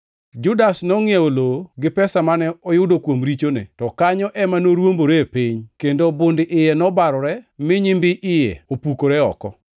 Judas nongʼiewo lowo gi pesa mane oyudo kuom richone, to kanyo ema noruomboree piny, kendo bund iye nobarore mi nyimbi iye opukore oko.